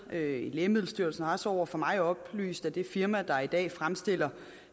lægemiddelstyrelsen har også over for mig oplyst at det firma der i dag fremstiller